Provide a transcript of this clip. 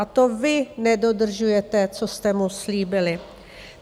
A to vy nedodržujete, co jste mu slíbili.